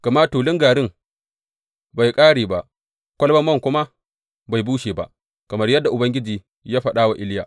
Gama tulun garin bai ƙare ba, kwalabar man kuma bai bushe ba, kamar yadda Ubangiji ya faɗa wa Iliya.